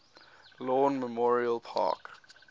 lawn memorial park